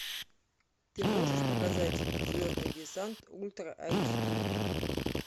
ты можешь показать звездный десант ультра айч ди